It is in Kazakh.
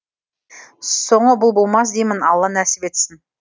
соңы бұл болмас деймін алла нәсіп етсін